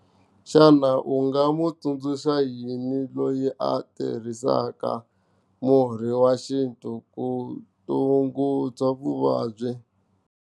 Xana u nga n'wi tsundzuxa yini loyi a tirhisaka murhi wa xintu ku tshungula vuvabyi.